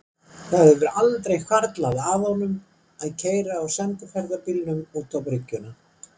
Það hefur aldrei hvarflað að honum að keyra á sendiferðabílnum út á bryggjuna.